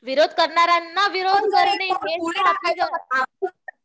विरोध करणाऱ्यांना विरोध करणे हेच